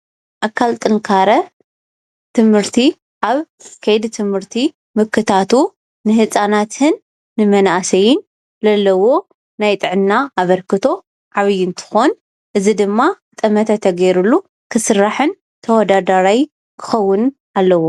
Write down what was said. ኣካል ጥንካረ ትምህርቲ ኣብ ከይዲ ትምህርቲ ምክታቱ ንህፃናትን ንመኣሰይን ለለዎ ናይ ጥዕና ኣብርክቶ ዓብይ እንትኸውን እዚ ድማ ጠመተ ተገይሩሉ ክስራሕን ተዋዳዳራይ ክኸውንን አለዎ።